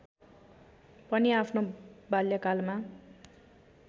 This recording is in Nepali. पनि आफ्नो बाल्यकालमा